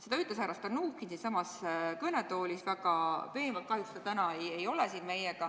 Seda ütles härra Stalnuhhin siinsamas kõnetoolis väga veenvalt, kahjuks teda ennast ei ole täna siin.